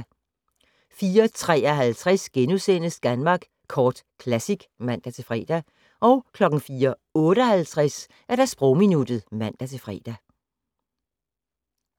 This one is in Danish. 04:53: Danmark Kort Classic *(man-fre) 04:58: Sprogminuttet (man-fre)